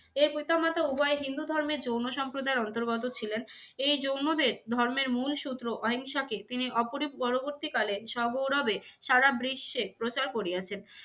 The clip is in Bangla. এর পিতা মাতা উভয়েই হিন্দু ধর্মের জৈন সম্প্রদায়ের অন্তর্গত ছিলেন। এই জৈনদের ধর্মের মূল সূত্র অহিংসাকে তিনি অপ~ পরবর্তীকালে সগৌরবে সারা বিশ্বে প্রচার করিয়াছেন।